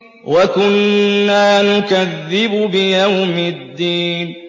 وَكُنَّا نُكَذِّبُ بِيَوْمِ الدِّينِ